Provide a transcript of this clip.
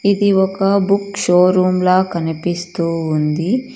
ఇది ఒక book showroom లా కనిపిస్తూ ఉంది.